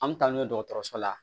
An mi taa n'u ye dɔgɔtɔrɔso la